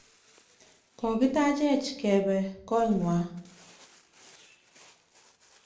Kokitaachech kepe ko ing'wa.